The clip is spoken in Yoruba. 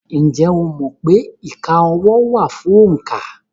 Ǹjẹ́ o mọ̀ pé ìka ọwọ́ wà fún òǹkà?